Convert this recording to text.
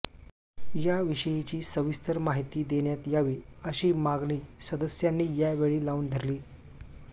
याविषयीची सविस्तर माहिती देण्यात यावी अशी मागणी सदस्यांनी यावेळी लावून धरली